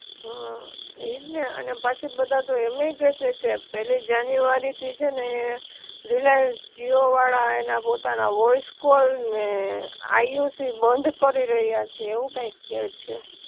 હઅ ઈ જ ને, અને પાછા બધા તો એમેય કે છે કે પેલી જાન્યુઆરી થી છે ને હે રિલાયન્સ જીઓ વાળા એના પોતાના વોઇસ કોલ ને આઇઓસી બંધ કરી રહ્યા છે એવું કઈક કે છે